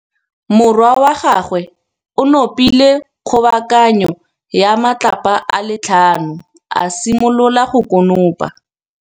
Morwa wa gagwe o nopile kgobokanô ya matlapa a le tlhano, a simolola go konopa.